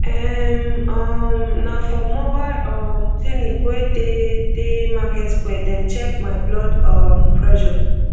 erm um na for mobile um clinic wey dey dey market square dem check my blood um pressure